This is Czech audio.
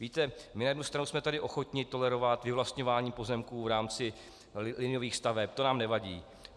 Víte, my na jednu stranu jsme tady ochotni tolerovat vyvlastňování pozemků v rámci liniových staveb, to nám nevadí.